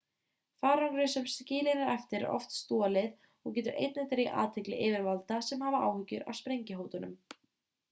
farangri sem skilinn er eftir er oft stolið og getur einnig dregið athygli yfirvalda sem hafa áhyggjur af sprengjuhótunum